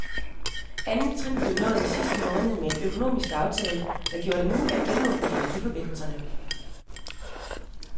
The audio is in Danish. Andet trin blev nået i sidste måned med en økonomisk aftale, der gjorde det muligt at genåbne energiforbindelserne.